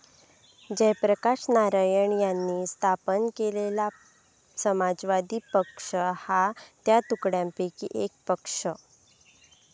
जयप्रकाश नारायण यांनी स्थापन केलेला समाजवादी पक्ष हा त्या तुकड्यांपैकीच एक पक्ष.